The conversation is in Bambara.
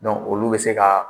olu bɛ se ka